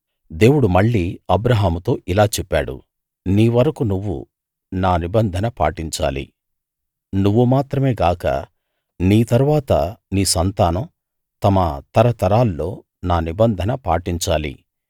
దేవుడు మళ్ళీ అబ్రాహాముతో ఇలా చెప్పాడు నీ వరకూ నువ్వు నా నిబంధన పాటించాలి నువ్వు మాత్రమే గాక నీ తరువాత నీ సంతానం తమ తరతరాల్లో నా నిబంధన పాటించాలి